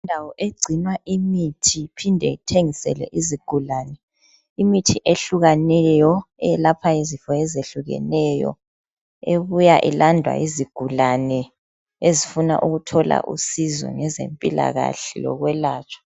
Indawo egcinwa imithi iphinde ithengiselwe izigulane. Imithi ehlukaneyo elapha izifo ezihlukeneyo ebuya ilandwa yizigulane ezifuna ukuthola usizo ngezempilakahle lokwelatshwa.